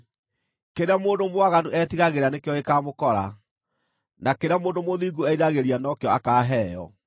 Kĩrĩa mũndũ mwaganu etigagĩra nĩkĩo gĩkaamũkora, na kĩrĩa mũndũ mũthingu eriragĩria nĩkĩo akaaheo.